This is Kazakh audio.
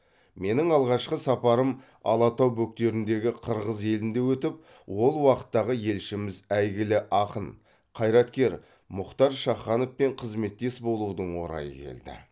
менің алғашқы сапарым алатау бөктеріндегі қырғыз елінде өтіп ол уақтағы елшіміз әйгілі ақын қайраткер мұхтар шахановпен қызметтес болудың орайы келді